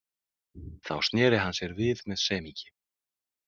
Þá sneri hann sér við með semingi.